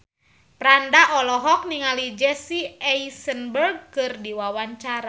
Franda olohok ningali Jesse Eisenberg keur diwawancara